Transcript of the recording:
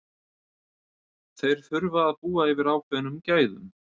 Þeir þurfa að búa yfir ákveðnum gæðum.